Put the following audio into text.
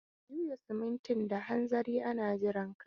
Ka juya simintin da hanzari ana jiranka!